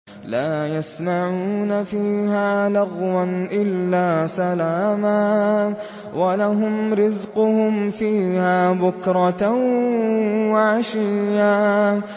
لَّا يَسْمَعُونَ فِيهَا لَغْوًا إِلَّا سَلَامًا ۖ وَلَهُمْ رِزْقُهُمْ فِيهَا بُكْرَةً وَعَشِيًّا